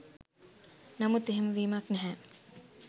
නමුත් එහෙම වීමක් නැහැ.